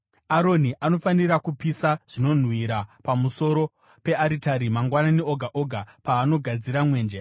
“Aroni anofanira kupisa zvinonhuhwira pamusoro pearitari mangwanani oga oga paanogadzira mwenje.